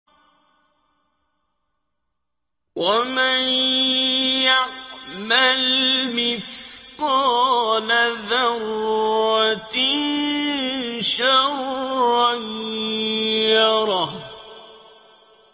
وَمَن يَعْمَلْ مِثْقَالَ ذَرَّةٍ شَرًّا يَرَهُ